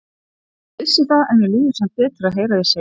Ég vissi það, en mér líður samt betur að heyra þig segja það.